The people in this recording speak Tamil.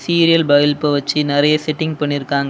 சீரியல் பல்ப வச்சு நெறைய செட்டிங் பண்ணிருக்காங்க.